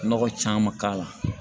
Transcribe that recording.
Nɔgɔ caman k'a la